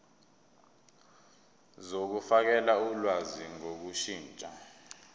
zokufakela ulwazi ngokushintsha